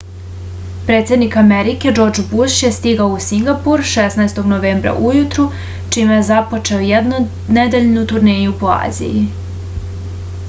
predsednik amerike džordž buš je stigao u singapur 16. novembra ujutru čime je započeo jednonedeljnu turneju po aziji